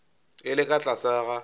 e le ka tlase ga